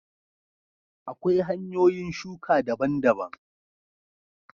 Akwai hanyoyin shuka daban daban